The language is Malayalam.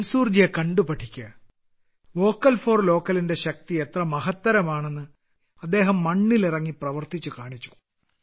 മൻസൂർ ജിയെ കണ്ടു പഠിക്കുക വോക്കൽ ഫോർ ലോക്കൽ ന്റെ ശക്തി എത്ര മഹത്തരമാണെന്ന് അദ്ദേഹം മണ്ണിൽ ഇറങ്ങി പ്രവർത്തിച്ച് കാണിച്ചു